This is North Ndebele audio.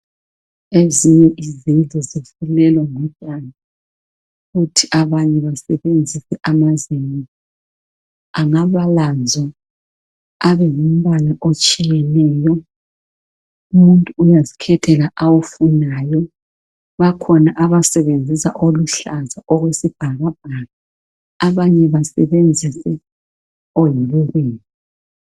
ezinye izindlu zifulelwa ngotshani kuthi abanye basebenzise amazenge angabalanzo abe ngumbala otshiyeneyo umuntu uyazikhethela awufunayo bakhona abasebenzisa oluhlaza okwesibhabhaka abanye basebenzise